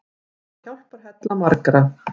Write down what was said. Hann var hjálparhella margra.